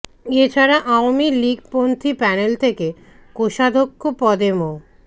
এ ছাড়া আওয়ামী লীগপন্থী প্যানেল থেকে কোষাধ্যক্ষ পদে মো